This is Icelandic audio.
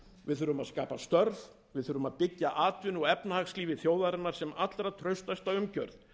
við þurfum að skapa störf við þurfum að byggja atvinnu og efnahagslífi þjóðarinnar sem allra traustasta umgjörð